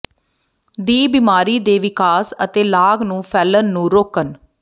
ਦੀ ਬਿਮਾਰੀ ਦੇ ਵਿਕਾਸ ਅਤੇ ਲਾਗ ਨੂੰ ਫੈਲਣ ਨੂੰ ਰੋਕਣ